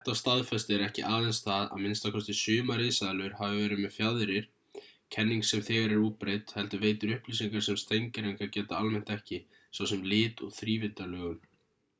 þetta staðfestir ekki aðeins það að minnsta kosti sumar risaeðlur hafi verið með fjaðrir kenning sem þegar er útbreidd heldur veitir upplýsingar sem steingervingar geta almennt ekki svo sem lit og þrívíddarlögun